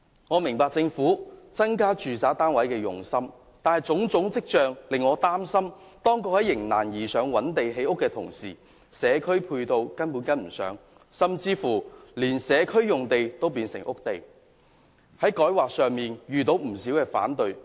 我明白政府增加住宅單位的用心，但種種跡象皆令我擔心，當局在"迎難而上"覓地建屋的同時，社區配套根本未能跟上，甚至連社區用地都變成屋地，以致在改劃方面遇到不少反對聲音。